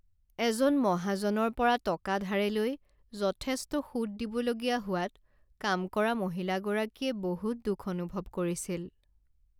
এজন মহাজনৰ পৰা টকা ধাৰে লৈ যথেষ্ট সুত দিবলগীয়া হোৱাত কাম কৰা মহিলাগৰাকীয়ে বহুত দুখ অনুভৱ কৰিছিল।